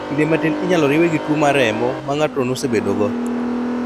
Kinde matin inyalo riwe gi tuo mar remo ma ng'ato nosebedo go